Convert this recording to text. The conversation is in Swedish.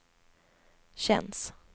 känns